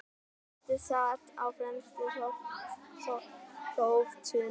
Koti sat á fremstu þóftunni.